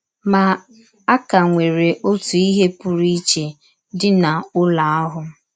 Ma, a ka nwere ọtụ ihe pụrụ iche dị n’ụlọ ahụ.